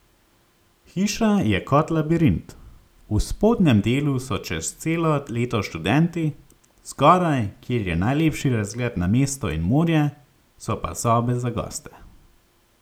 Hiša je kot labirint, v spodnjem delu so čez celo leto študenti, zgoraj, kjer je najlepši razgled na mesto in morje, so pa sobe za goste.